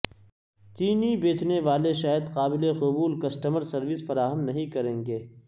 چینی بیچنے والے شاید قابل قبول کسٹمر سروس فراہم نہیں کریں گے